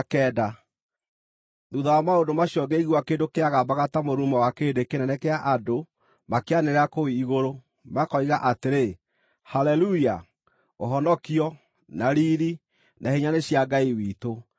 Thuutha wa maũndũ macio ngĩigua kĩndũ kĩagambaga ta mũrurumo wa kĩrĩndĩ kĩnene kĩa andũ makĩanĩrĩra kũu igũrũ, makoiga atĩrĩ: “Haleluya! Ũhonokio, na riiri, na hinya nĩ cia Ngai witũ,